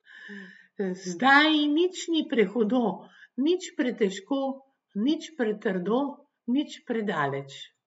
Zdaj nič ni prehudo, nič pretežko, nič pretrdo, nič predaleč.